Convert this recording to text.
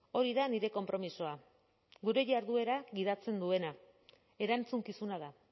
hori da nire konpromisoa gure jarduera gidatzen duena erantzukizuna da